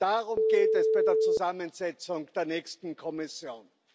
Darum geht es bei der Zusammensetzung der nächsten Kommission.